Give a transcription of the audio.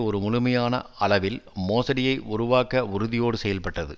ஒரு முழுமையான அளவில் மோசடியை உருவாக்க உறுதியோடு செயல்பட்டது